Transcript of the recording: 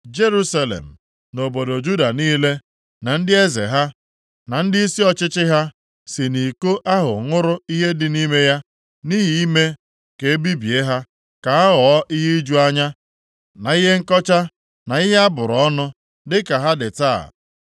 Jerusalem na obodo Juda niile, na ndị eze ha, na ndịisi ọchịchị ha, si nʼiko ahụ ṅụrụ ihe dị nʼime ya, nʼihi ime ka e bibie ha, ka ha ghọọ ihe iju anya, na ihe nkọcha, na ihe a bụrụ ọnụ, dịka ha dị taa.